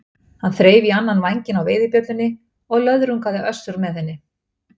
Hann þreif í annan vænginn á veiðibjöllunni og löðrungaði Össur með henni.